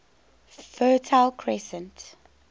fertile crescent